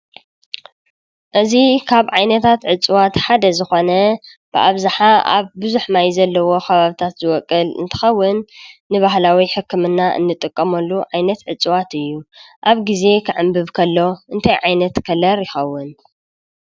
እዚ ካብ ዓይነታት እፅዋት ሓደ ዝኾነ ብኣብዛሓ ኣብ ብዙሕ ማይ ኣብ ዘለዎ ኸባቢታት ዝቦቁል እንትኸውን ንባህላዊ ሕክምና እንጥቀመሉ ዓይነት እፅዋት እዩ። ኣብ ግዜ ክዕንብብ ከሎ እንታይ ዓይነት ከለር ይኸውን?